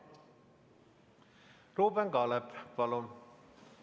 Ruuben Kaalep, palun!